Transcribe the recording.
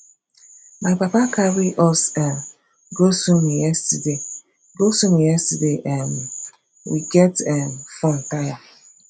my papa carry us um go swimming yesterday go swimming yesterday um we get um fun tire